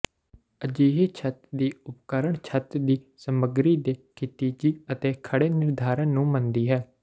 ਅਜਿਹੀ ਛੱਤ ਦੀ ਉਪਕਰਣ ਛੱਤ ਦੀ ਸਮਗਰੀ ਦੇ ਖਿਤਿਜੀ ਅਤੇ ਖੜ੍ਹੇ ਨਿਰਧਾਰਨ ਨੂੰ ਮੰਨਦੀ ਹੈ